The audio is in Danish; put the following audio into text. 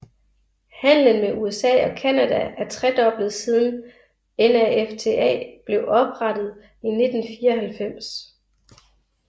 Handlen med USA og Canada er tredoblet siden NAFTA blev oprettet i 1994